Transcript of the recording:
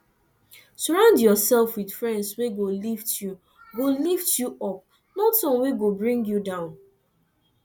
surround yourself with friends wey go lift you go lift you up not one wey go bring you down